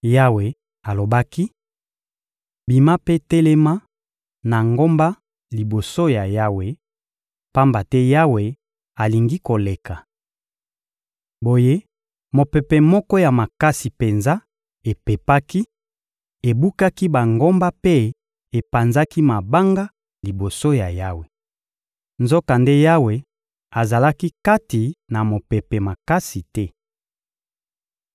Yawe alobaki: — Bima mpe telema na ngomba liboso ya Yawe, pamba te Yawe alingi koleka. Boye mopepe moko ya makasi penza epepaki, ebukaki bangomba mpe epanzaki mabanga liboso ya Yawe. Nzokande Yawe azalaki kati na mopepe makasi te.